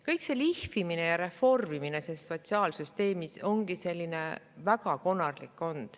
Kogu see lihvimine ja reformimine sotsiaalsüsteemis ongi olnud väga konarlik.